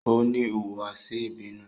O ni ihuwasi ibinu